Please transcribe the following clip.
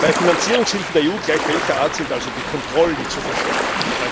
Bei Finanzierungshilfen der EU, gleich welcher Art, sind also die Kontrollen zu verschärfen.